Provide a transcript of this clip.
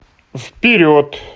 вперед